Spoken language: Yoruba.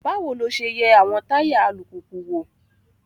Báwo lo ṣe ń yẹ àwọn táyà alùpùpù wò?